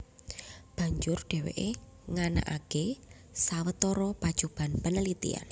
Banjur dhèwèké nganakaké sawetara pacoban panelitèn